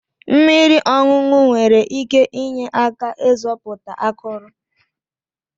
Mmiri ọṅụṅụ nwere ike inye aka ịzọpụta akụrụ.